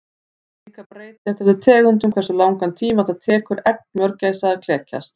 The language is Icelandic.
Það er líka breytilegt eftir tegundum hversu langan tíma það tekur egg mörgæsa að klekjast.